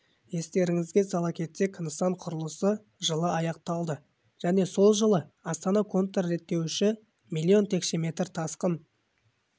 естеріңізге сала кетсек нысан құрылысы жылы аяқталды және сол жылы астана контрреттеуіші млн текше метр тасқын